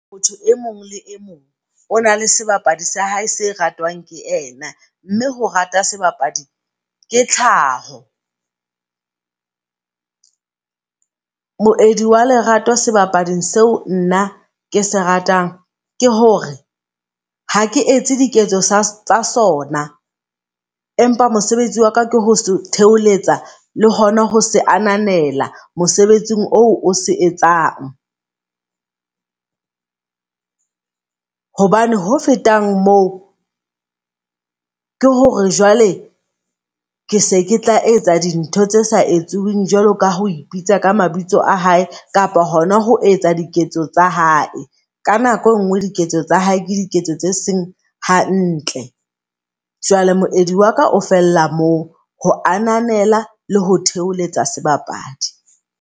Motho e mong le e mong ona le sebapadi sa hae se ratang ke yena. Mme ho rata sebapadi ke tlhaho . Moedi wa lerato sebapading seo nna ke se ratang ke hore hake etse diketso tsa sona, empa mosebetsi wa ka ke ho theoletsa le hona ho se a ananela mosebetsing o se etsang. Hobane ho feta moo, ke hore jwale ke se ketla etsa di ntho tse sa etsuwing jwalo ka ha o ipitsa ka mabitso a hae kapa hona ho ho etsa diketso tsa hae. Ka nako e nngwe, diketso tsa hae ke diketso tse seng hantle. Jwale moedi waka o fella moo, ho ananela le ho theoletsa sebapadi.